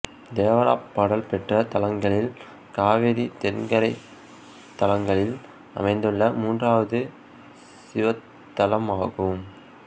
தேவாரப் பாடல் பெற்ற தலங்களில் காவிரி தென்கரைத் தலங்களில் அமைந்துள்ள மூன்றாவது சிவத்தலமாகும்